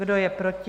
Kdo je proti?